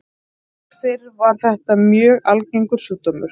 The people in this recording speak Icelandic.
Áður fyrr var þetta mjög algengur sjúkdómur.